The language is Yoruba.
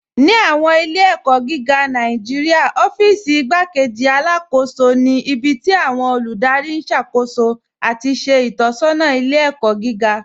Ní awọn ilẹ̀-ẹ̀kọ giga Nàìjíríà, ọ̀fíìsí Ìgbàkéjì Alákóṣọ ni ibi tí awọn olúdárí n ṣákóṣó ati ṣe itọsọna ilẹ̀-ẹ̀kọ giga.